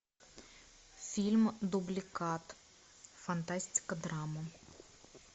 фильм дубликат фантастика драма